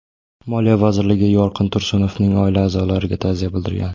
Moliya vazirligi Yorqin Tursunovning oila a’zolariga ta’ziya bildirgan.